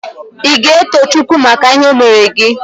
Ị ga-eto Chukwu maka ihe o meere gị?